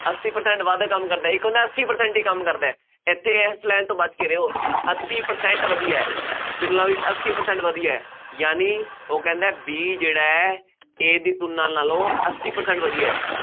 ਅੱਸੀ percent ਵੱਧ ਕੰਮ ਕਰਦਾ ਹੈ। ਇੱਕ ਹੁੰਦਾ ਹੈ ਅੱਸੀ percent ਹੀ ਕੰਮ ਕਰਦਾ ਹੈ। ਇੱਥੇ ਇਸ ਲਾਈਨ ਤੋਂ ਬੱਚ ਕੇ ਰਿਹੋ, ਅੱਸੀ percent ਵਧੀਆ, ਤੁਲਨਾ ਵਿੱਚ ਅੱਸੀ percent ਵਧੀਆ, ਯਾਨੀ ਉਹ ਕਹਿੰਦਾ B ਜਿਹੜਾ ਹੈ A ਦੀ ਤੁਲਨਾ ਨਾਲੋਂ ਅੱਸੀ percent ਵਧੀਆ